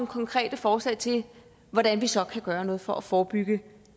konkrete forslag til hvordan vi så kan gøre noget for at forebygge